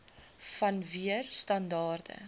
wan neer standaarde